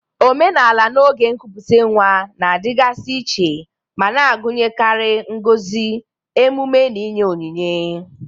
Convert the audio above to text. Omenala n'oge nkupute nwa na-adịgasị iche ma na-agụnyekarị ngozi, emume, na inye onyinye.